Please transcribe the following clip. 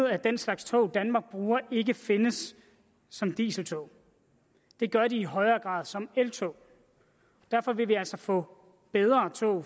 at den slags tog danmark bruger ikke findes som dieseltog det gør de i højere grad som eltog derfor vil vi altså få bedre tog